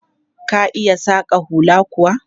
Ka iya saƙa hula kuwa?